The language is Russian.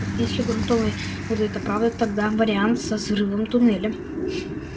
если грунтовые воды это правда тогда вариант со взрывом туннеля